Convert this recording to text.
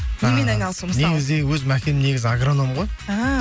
ы немен айналысу мысалы негізінде өзім әкем негізі агроном ғой ііі